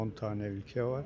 10 dənə ölkə var.